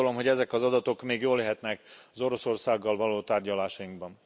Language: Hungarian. Úgy gondolom, hogy ezek az adatok még jók lehetnek az Oroszországgal való tárgyalásainkban.